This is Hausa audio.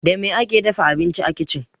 Da me ake dafa abinci a kicin?